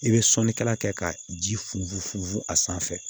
I bɛ sɔnni kɛla kɛ ka ji funfun a sanfɛ